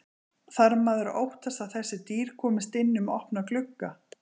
Þarf maður að óttast að þessi dýr komist inn um opna glugga?